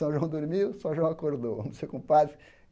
São João dormiu, São João acordou vamos ser compadres.